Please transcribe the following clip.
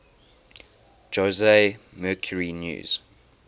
jose mercury news